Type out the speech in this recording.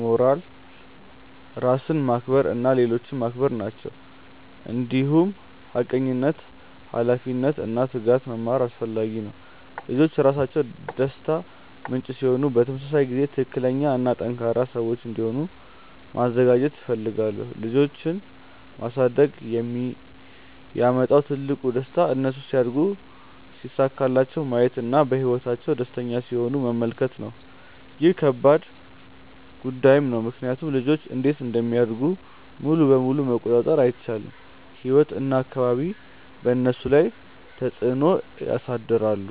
ሞራል፣ ራስን ማክበር እና ሌሎችን ማክበር ናቸው። እንዲሁም ሐቀኝነት፣ ኃላፊነት እና ትጋት መማር አስፈላጊ ነው። ልጆች ራሳቸው ደስታ ምንጭ ሲሆኑ በተመሳሳይ ጊዜ ትክክለኛ እና ጠንካራ ሰዎች እንዲሆኑ ማዘጋጀት እፈልጋለሁ። ልጆች ማሳደግ የሚያመጣው ትልቁ ደስታ እነሱ ሲያድጉ ሲሳካላቸው ማየት እና በህይወታቸው ደስተኛ ሲሆኑ መመልከት ነው። ይህ ከባድ ጉዳይም ነው ምክንያቱም ልጆች እንዴት እንደሚያድጉ ሙሉ በሙሉ መቆጣጠር አይቻልም፤ ህይወት እና አካባቢ በእነሱ ላይ ተፅዕኖ ያሳድራሉ።